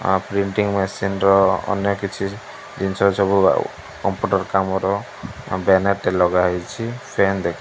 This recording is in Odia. ଆ ପ୍ରିଣ୍ଟିଂଗ ମେସିନ ର ଅନେକ କିଛି ଜିନିଷ ସବୁ କମ୍ପ୍ୟୁଟର କାମର ବ୍ୟାନର ଟେ ଲଗାହେଇଚି ଫ୍ୟାନ୍ ଦେଖା --